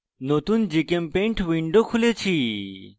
নতুন gchempaint window খুলেছি